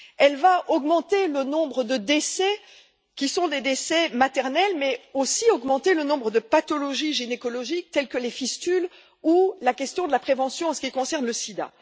Elle va augmenter le nombre de décès, qui sont des décès maternels, mais aussi augmenter le nombre de maladies gynécologiques, telles que les fistules, ou soulever la question de la prévention en ce qui concerne le SIDA.